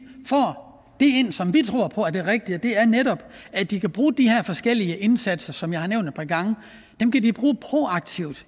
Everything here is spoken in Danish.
ind som vi tror er det rigtige og det er netop at de kan bruge de her forskellige indsatser som jeg har nævnt par gange proaktivt